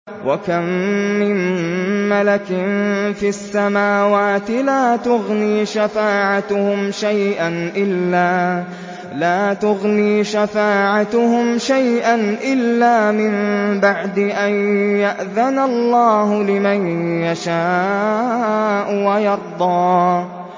۞ وَكَم مِّن مَّلَكٍ فِي السَّمَاوَاتِ لَا تُغْنِي شَفَاعَتُهُمْ شَيْئًا إِلَّا مِن بَعْدِ أَن يَأْذَنَ اللَّهُ لِمَن يَشَاءُ وَيَرْضَىٰ